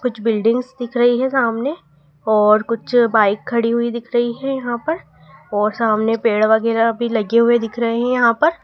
कुछ बिल्डिंग्स दिख रही है सामने और कुछ बाइक खड़ी हुई दिख रही है यहां पर और सामने पेड़ वगैरा भी लगे हुए दिख रहे हैं यहां पर--